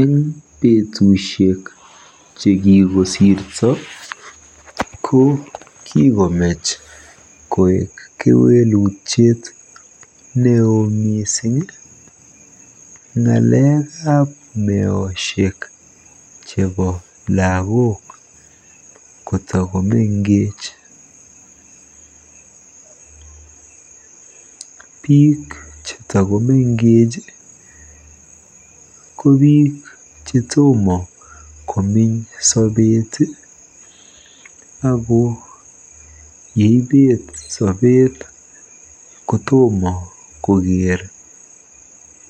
Eng betusiek che kikosirto ko kikomech koek kewelutiet neoo miising ng'alekap meoshek chebo lagook kotakomengech. Biik chetakomengech ko biik che tomo komeny sobeet ako yeibeet sobeet kotomo koker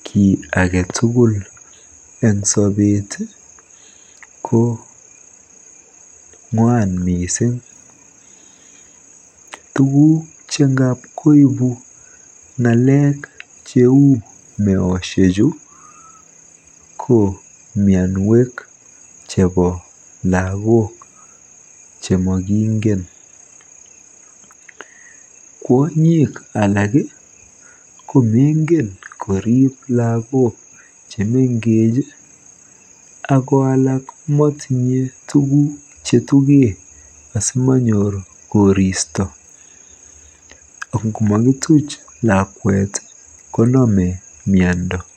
kiy age tugul eng sobeet ko ng'wan miising. Tuguk che ngap koibu meoshek cheuchu ko mianwek chebo lagook chemokingen. Kwonyik alak ko mengen koriib lagok che mengech ako alak komotinye tuguk chekituche asimanam koristo. Ngotuiyo lakwet ak koristo komiane.